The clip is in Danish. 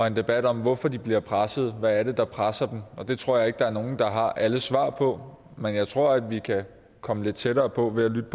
en debat om hvorfor de bliver presset hvad det er der presser dem og det tror jeg ikke at der er nogen der har alle svar på men jeg tror at vi kan komme lidt tættere på ved at lytte